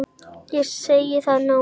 Ég segi það nú!